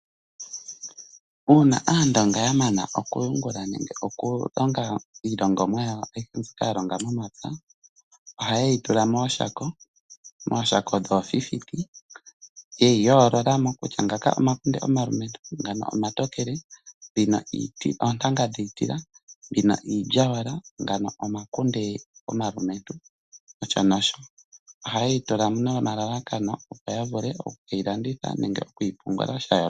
Uuna aandonga ya mana oku yungula nenge oku longa iilongamwa yawo ayihe mbyoka ya longa momapya , ohaye yi tula mooshako. Mooshako dhoofifiti, yeyi yoolola mo kutya ngaka omakunde omalumentu, ngano omatokele, dhino oontanga dhiitila mbino iilyawala, ngano omakunde omalumentu nosho nosho. Ohaye dhi tula nomalalakano opo ya vule oku keyi landitha nenge okuyi pungula sha yooloka.